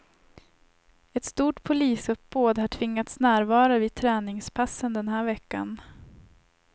Ett stort polisuppbåd har tvingats närvara vid träningspassen den här veckan.